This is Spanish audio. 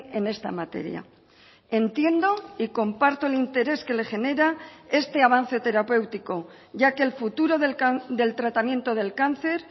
en esta materia entiendo y comparto el interés que le genera este avance terapéutico ya que el futuro del tratamiento del cáncer